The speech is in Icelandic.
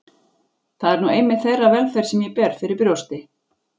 Það er nú einmitt þeirra velferð sem ég ber fyrir brjósti.